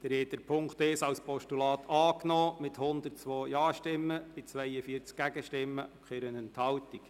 Sie haben den Punkt 1 als Postulat angenommen, mit 102 Ja-Stimmen bei 42 Gegenstimmen und keiner Enthaltung.